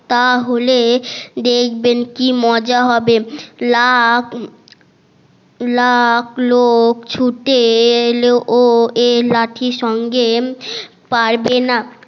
তাহলে দেখবেন কি মজা হবে লাফ লাফ লোক ছুটে এলেও এই লাঠির সঙ্গে পারবে না